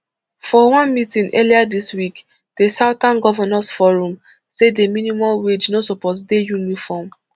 for one meeting earlier dis week di southern governors forum say di minimum wage no suppose dey uniform